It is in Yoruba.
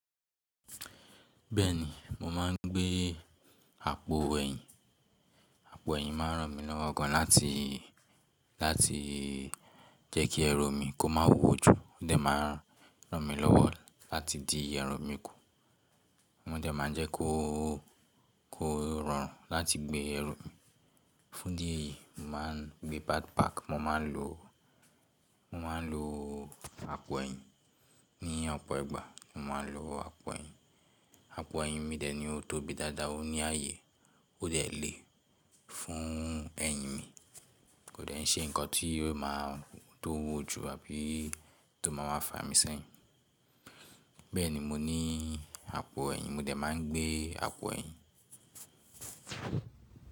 Bẹ́ẹ̀ni, mo máa ń gbé àpò ẹ̀yìn. Àpò ẹ̀yìn máa ń ràn mí lọ́wọ́ gan láti, láti jẹ́ kí ẹrù mi kó máa wuwọ́ ju, ó dé máa ń ràn mí lọ́wọ́ láti di ẹrù mi kù. Wọ́n dé máa ń jẹ́ kó, kó rọrùn láti gbé ẹrù mi. Fún ìdi èyí, mo máa ń gbé backpack, mo máa ń lo, mo máa ń lo àpò ẹ̀yìn. Ni ọ̀pọ̀ ìgbà mo máa ń lo àpò ẹ̀yìn. Àpò ẹ̀yìn mi dé ni ó tóbi dáadáa, ó ní àyè, ó dé le fún ẹ̀yìn mi, kò dẹ́ ṣe ǹkan tí o máa tó wúwo ju àbí tó máa wá fà mí sẹ́yìn. Bẹ́ẹ̀ni mo ní àpò ẹ̀yìn, mo de máa ń gbé àpò ẹ̀yìn.